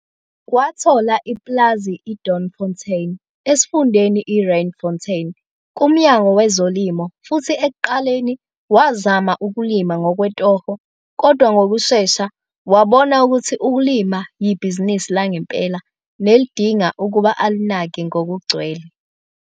Wathola ipulazi i-Doornfontein esifundeni i-Randfontein kuMnyango weZolimo futhi ekuqaleni wazama ukulima ngokwetoho kodwa ngokushesha wabona ukuthi ukulima yibhizinisi langempela nelidinga ukuba alinake ngokugcwele.